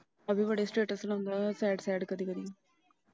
ਅਭੀ ਬੜੇ Status ਲਾਉਂਦਾ sadSad ਕਦੀ ਕਦੀ।